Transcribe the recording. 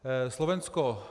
Slovensko.